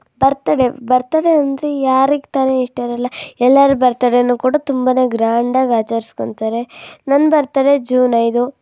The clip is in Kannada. ಬರ್ತಡೇ ಬರ್ತಡೇ ಅಂದ್ರೆ ಯಾರಿಗ್ ತಾನೇ ಇಷ್ಟ ಇರಲ್ಲ ಎಲ್ಲರು ಬರ್ತ್ ಡೇ ಕೂಡ ಗ್ರಾಂಡ್ ಆಗಿ ಆಚರಿಸಿಕೋತಾರೆ ನನ್ ಬರ್ತ್ ಡೇ ಜೂನ್ ಐದು .